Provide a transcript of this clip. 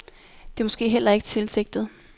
Det er måske heller ikke tilsigtet.